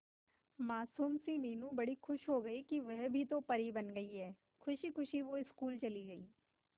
मासूम सी मीनू बड़ी खुश हो गई कि वह भी तो परी बन गई है खुशी खुशी वो स्कूल चली गई